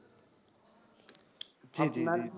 জি জি।